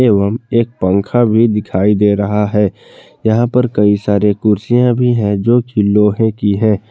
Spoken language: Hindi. एवं एक पंखा भी दिखाई दे रहा है यहां पर कई सारे कुर्सियां भी हैं जो कि लोहे की हैं।